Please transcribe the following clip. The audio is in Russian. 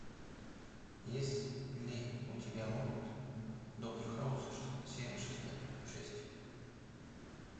есть ли у тебя мульт доктор хаус серия шесть